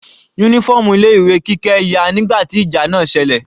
Uniform ilé ìwé Kike ya nígbà tí ìjà náà selẹ̀.